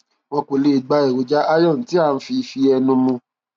wọn kò lè gba èròjà iron tí à ń fi fi ẹnu mu